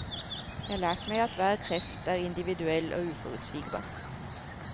Jeg har lært meg at hver kreft er individuell og uforutsigbar.